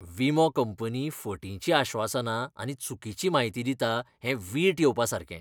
विमो कंपनी फटींची आश्वासनां आनी चुकीची म्हायती दिता, हें वीट येवपासारकें.